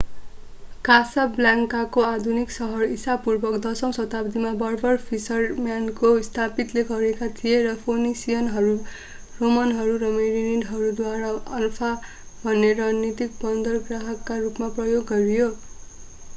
कासाब्लान्काको आधुनिक सहर ईसापूर्व 10 औँ शताब्दीमा बर्बर फिसरम्यानले स्थापित गरेका थिए र फोनिसियनहरू रोमनहरू र मेरिनिडहरूद्वारा अनफा भन्ने रणनीतिक बन्दरगाहका रूपमा प्रयोग गरियो